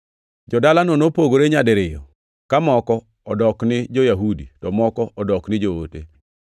Jo-dalano nopogore nyadiriyo ka moko odok ni jo-Yahudi, to moko nodok ni joote.